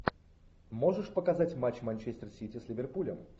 можешь показать матч манчестер сити с ливерпулем